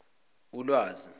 ulwazi